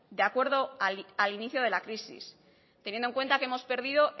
de acuerdo al inicio de la crisis teniendo en cuenta que hemos perdido